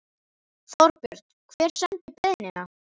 Þorbjörn: Hver sendi beiðnina?